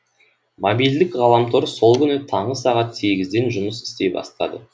мобильдік ғаламтор сол күні таңғы сағат сегізден жұмыс істей бастады